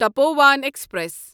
Tapovan express